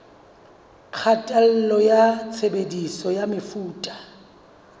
kgatello ya tshebediso ya mefuta